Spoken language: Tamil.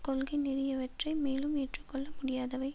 கொள்கைநெறியவற்றை மேலும் ஏற்றுக்கொள்ள முடியாதவை